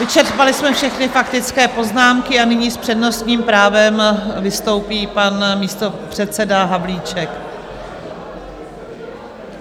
Vyčerpali jsme všechny faktické poznámky a nyní s přednostním právem vystoupí pan místopředseda Havlíček.